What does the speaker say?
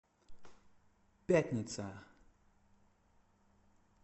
пятница